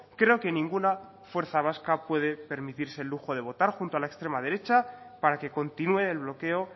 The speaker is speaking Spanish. creo que ninguna fuerza vasca puede permitirse el lujo de votar junto a la extrema derecha para que continúe el bloqueo